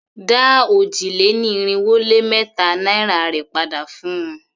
Dá òjì-lé-ní-irinwó-lé-mẹ́ta naira rè padà fun!